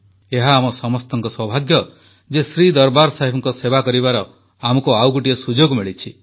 ଏହା ଆମ ସମସ୍ତଙ୍କ ସୌଭାଗ୍ୟ ଯେ ଶ୍ରୀ ଦରବାର ସାହେବଙ୍କ ସେବା କରିବାର ଆମକୁ ଆଉ ଗୋଟିଏ ସୁଯୋଗ ମିଳିଛି